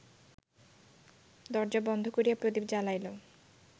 দরজা বন্ধ করিয়া প্রদীপ জ্বালাইল